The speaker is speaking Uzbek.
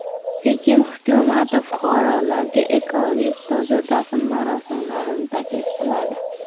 Pekin hukumati fuqarolarga ekologik toza dafn marosimlarini taklif qiladi.